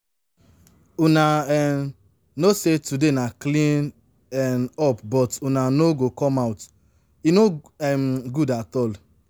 Una um know say today na clean um up but una no go come out, e no um good at all